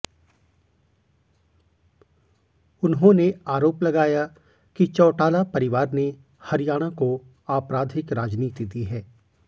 उन्होंने आरोप लगाया कि चौटाला परिवार ने हरियाणा को आपराधिक राजनीति दी है